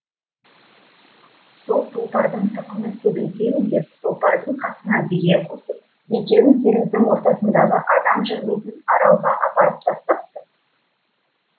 сол тұлпардың тұқымын көбейтемін деп тұлпардың қасына бие қосып екеуін теңіздің ортасындағы адам жүрмейтін аралға апарып тастапты